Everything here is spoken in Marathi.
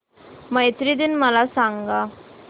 मैत्री दिन मला सांगा